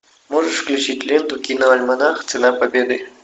можешь включить ленту киноальманах цена победы